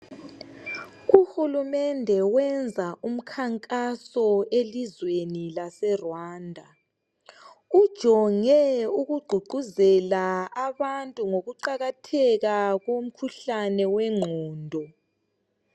uhulumende uyenza umkankaso elizweni lase Rwanda ujonge ukuguquzela abantu ngokuqakatheka komkuhlane wentondo.